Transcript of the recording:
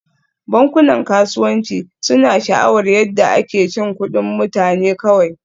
Bankunan kasuwanci suna sha'awar yadda ake cin kuɗin mutane kawai